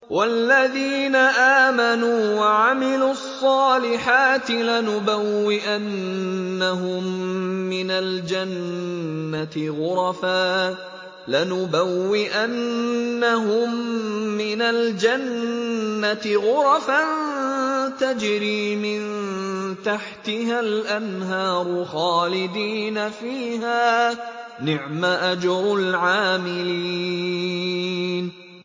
وَالَّذِينَ آمَنُوا وَعَمِلُوا الصَّالِحَاتِ لَنُبَوِّئَنَّهُم مِّنَ الْجَنَّةِ غُرَفًا تَجْرِي مِن تَحْتِهَا الْأَنْهَارُ خَالِدِينَ فِيهَا ۚ نِعْمَ أَجْرُ الْعَامِلِينَ